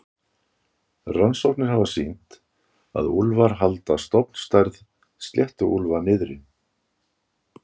Rannsóknir hafa sýnt að úlfar halda stofnstærð sléttuúlfa niðri.